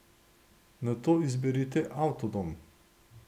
Nato izberite avtodom.